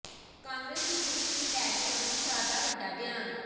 ਕਾਂਗਰਸ ਦੀ ਕੁਰਸੀ ਨੂੰ ਲੈ ਕੇ ਅਮਿਤ ਸ਼ਾਹ ਦਾ ਵੱਡਾ ਬਿਆਨ